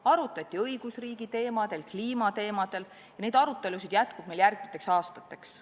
Arutleti õigusriigi teemadel ja kliimateemadel ning neid arutelusid jätkub ka järgmisteks aastateks.